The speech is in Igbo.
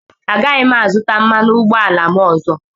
Agaghị m azụta mmanụ ụgbọala m ọzọ.